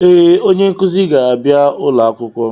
Ee, onye nkuzi ga-abịa ulo akwụkwọ.